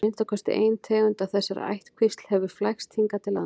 að minnsta kosti ein tegund af þessari ættkvísl hefur flækst hingað til lands